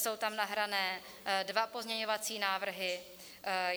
Jsou tam nahrané dva pozměňovací návrhy.